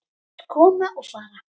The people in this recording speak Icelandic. Þeir koma og fara.